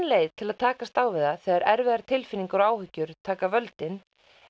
leið til að takast á við það þegar erfiðar tilfinningar og áhyggjur taka völdin